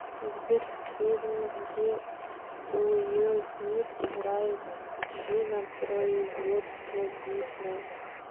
сбер фильм где уилл смит играет джинна производство дисней